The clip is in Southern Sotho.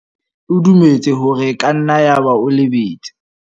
O dumetse hore e ka nna yaba o lebetse.